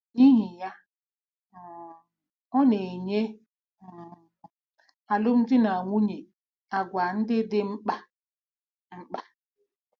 N'ihi ya, um ọ na-enye um alụmdi na nwunye àgwà ndị dị mkpa. mkpa.